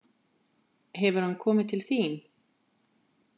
Hefur hann komið til þín?